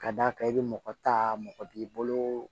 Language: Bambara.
Ka d'a kan i bɛ mɔgɔ ta mɔgɔ b'i bolo